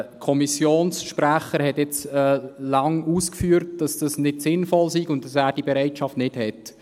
Der Kommissionssprecher hat jetzt lange ausgeführt, dass das nicht sinnvoll sei und er die Bereitschaft nicht hat.